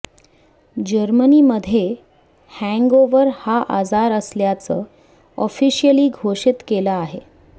Germany मध्ये hangover हा आजार असल्याचं ऑफिशिअली घोषित केलं आहे